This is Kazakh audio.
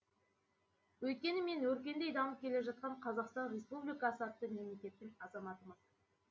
өйткені мен өркендей дамып келе жатқан қазақстан республикасы атты мемлекеттің азаматымын